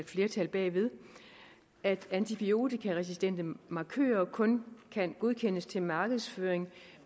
flertal bagved at antibiotikaresistente markører kun kan godkendes til markedsføring